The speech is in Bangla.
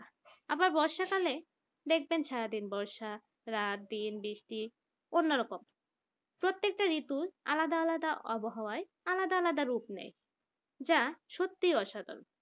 আবার বর্ষাকালে দেখবেন সারাদিন বর্ষা রাত দিন বৃষ্টি অন্যরকম প্রত্যেকটা ঋতু আলাদা আলাদা আবহাওয়া আলাদা আলাদা রূপ নেয় যা সত্যিই অসাধারণ